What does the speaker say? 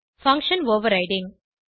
function overriding